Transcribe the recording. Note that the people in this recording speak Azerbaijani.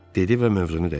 Dedi və mövzunu dəyişdi.